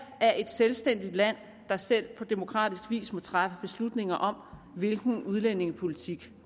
er et selvstændigt land der selv på demokratisk vis må træffe beslutninger om hvilken udlændingepolitik